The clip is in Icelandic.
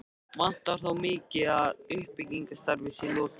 Vantar þó mikið á, að því uppbyggingarstarfi sé lokið.